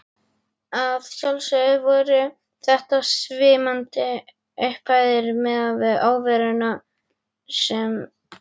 Að sjálfsögðu voru þetta svimandi upphæðir miðað við óveruna sem